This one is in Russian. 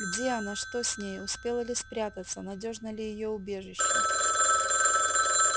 где она что с нею успела ли спрятаться надёжно ли её убежище